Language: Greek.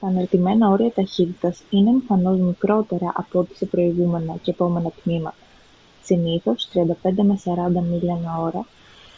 τα αναρτημένα όρια ταχύτητας είναι εμφανώς μικρότερα από ό,τι σε προηγούμενα και επόμενα τμήματα –συνήθως 35-40 μίλια/ώρα